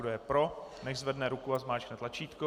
Kdo je pro, nechť zvedne ruku a zmáčkne tlačítko.